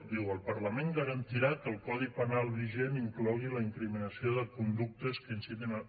diu el parlament garantirà que el codi penal vigent inclogui la incriminació de conductes que incitin a